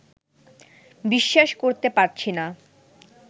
বিশ্বাস করতে পারছি না